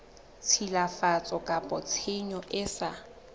tshilafatso kapa tshenyo e sa